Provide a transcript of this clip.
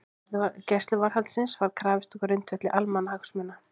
Gæsluvarðhaldsins var krafist á grundvelli almannahagsmuna